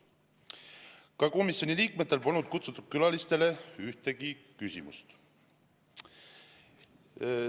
Ka komisjoni liikmetel polnud kohale kutsutud külalistele ühtegi küsimust.